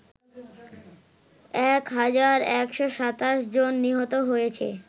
১১২৭ জন নিহত হয়েছে